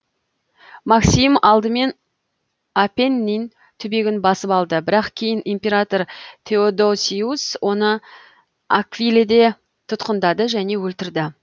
максим алдымен апеннин түбегін басып алды бірақ кейін император теодосиус оны аквиледе тұтқындады және өлтірді